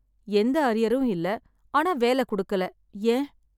எந்த அரியரும் இல்ல ஆனா வேல கொடுக்கல, ஏன்?